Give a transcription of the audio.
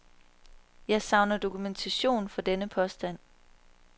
Jeg savner dokumentation for denne påstand.